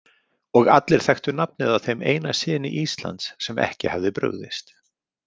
Og allir þekktu nafnið á þeim eina syni Íslands sem ekki hafði brugðist.